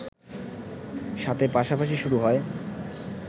সাথে পাশাপাশি শুরু হয়